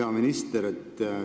Hea minister!